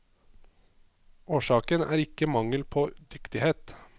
Årsaken er ikke mangel på dyktighet.